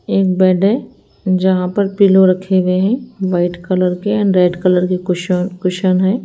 एक बेड है जहां पर पिलो रखे हुए हैं व्हाइट कलर के एंड रेड कलर के कुश कुशन हैं।